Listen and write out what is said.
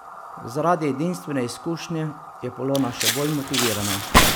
Zaradi edinstvene izkušnje je Polona še bolj motivirana.